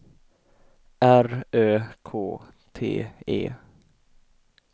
R Ö K T E